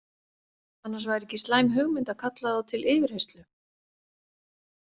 Annars væri ekki slæm hugmynd að kalla þá til yfirheyrslu.